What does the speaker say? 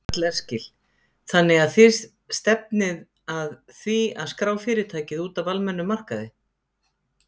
Karl Eskil: Þannig að þið stefnir að því að skrá fyrirtækið út af almennum markaði?